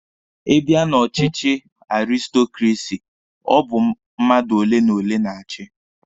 Ị bịa na ọchịchị aristokrasi, ọ bụ mmadụ ole na ole na-achi.